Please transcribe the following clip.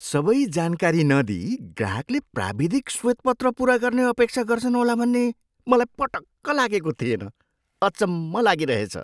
सबै जानकारी नदिई ग्राहकले प्राविधिक श्वेतपत्र पुरा गर्ने अपेक्षा गर्छन् होला भन्ने मलाई पटक्क लागेको थिएन। अचम्म लागिरहेछ।